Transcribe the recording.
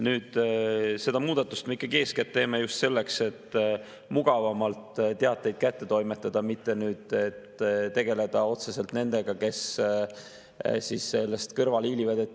Nüüd, seda muudatust me ikkagi eeskätt teeme just selleks, et mugavamalt teateid kätte toimetada, mitte selleks, et tegeleda otseselt nendega, kes sellest kõrvale hiilivad.